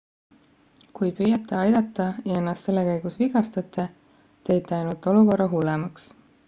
kui püüate aidata ja ennast selle käigus vigastate teete ainult olukorra hullemaks